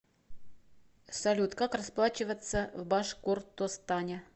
салют как расплачиваться в башкортостане